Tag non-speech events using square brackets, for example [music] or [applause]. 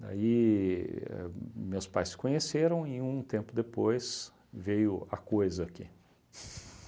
Aí ahn me meus pais se conheceram e um tempo depois veio a coisa aqui [laughs]